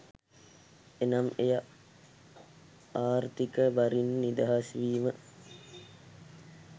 එනම් එය ආර්ථීක බරින් නිදහස් වීම